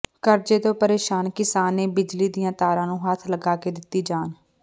ਕਰਜ਼ੇ ਤੋਂ ਪ੍ਰੇਸ਼ਾਨ ਕਿਸਾਨ ਨੇ ਬਿਜਲੀ ਦੀਆਂ ਤਾਰਾਂ ਨੂੰ ਹੱਥ ਲਗਾ ਕੇ ਦਿੱਤੀ ਜਾਨ